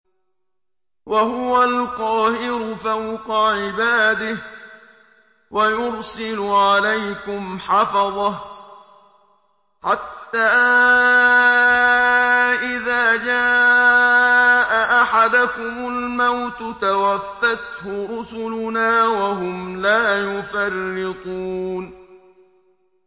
وَهُوَ الْقَاهِرُ فَوْقَ عِبَادِهِ ۖ وَيُرْسِلُ عَلَيْكُمْ حَفَظَةً حَتَّىٰ إِذَا جَاءَ أَحَدَكُمُ الْمَوْتُ تَوَفَّتْهُ رُسُلُنَا وَهُمْ لَا يُفَرِّطُونَ